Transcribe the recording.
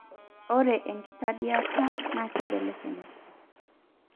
ore enkitadiata na kibelekenya,